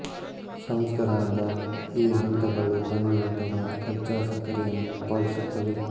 ಸಂಸ್ಕರಣದ ಈ ಹಂತಗಳು ಕಂದು ಅಥವಾ ಕಚ್ಚಾ ಸಕ್ಕರೆಯನ್ನು ಉತ್ಪಾದಿಸುತ್ತವೆ